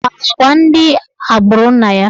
Ọ kpara agwa ndị agbụrụ nna ya?